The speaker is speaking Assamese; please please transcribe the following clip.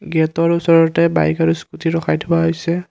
গেটৰ ওচৰতে বাইক আৰু স্কুটি ৰখাই থোৱা হৈছে।